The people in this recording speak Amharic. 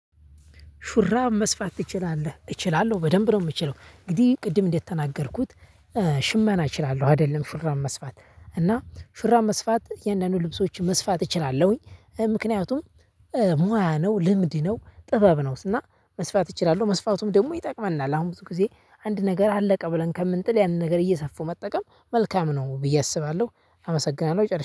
ሹራብ መስፋት ትችላለህ? እችላለሁ በደንብ ነው የምችለው እንግዲህ ቅድም እንደተናገርኩት ሽመና እችላለሁ አይደለም ሹራብ መስፋት። እና ሹራብ መስፋት እያንዳንዱን ልብሶች መስፋት እችላለሁኝ። ምክንያቱም ሙያ ነው ልምድ ነው ጥበብ ነው እና መስፋት እችላለሁ መስፋቱም ደግሞ ይጠቅመናል። አሁን ብዙ ጊዜ አንድ ነገር አለቀ ብለን ከምንጥል ያንን ነገር እየሰፉ መጠቀም መልካም ነው። ብዬ አስባለሁ። አመሰግናለሁ ጨርሻለሁ